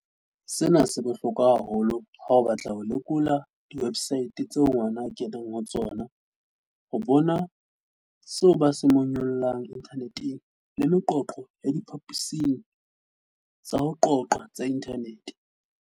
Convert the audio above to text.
"Sena se bohlokwa haholo ha o batla ho lekola diwe bsaete tseo ngwana a kenang ho tsona, ho bona seo ba se monyollang inthaneteng le meqoqo ya diphaposing tsa ho qoqa tsa inthanete."